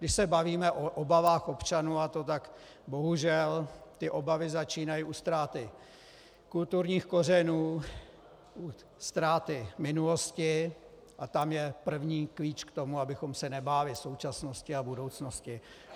Když se bavíme o obavách občanů, a to tak, bohužel, ty obavy začínají u ztráty kulturních kořenů, u ztráty minulosti a tam je první klíč k tomu, abychom se nebáli současnosti a budoucnosti.